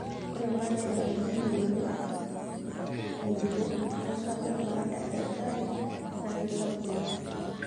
Ore batisho nabulunye ngonyo ngejuko osarge baada e baare naa keisapuk oleng'.